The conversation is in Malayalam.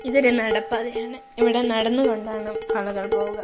ഇതൊരു നടപ്പാതയാണ് ഇവിടെ നടന്നു കൊണ്ടാണ് ആളുകൾ പോവുക.